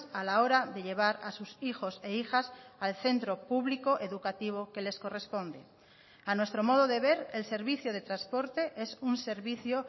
a la hora de llevar a sus hijos e hijas al centro público educativo que les corresponde a nuestro modo de ver el servicio de transporte es un servicio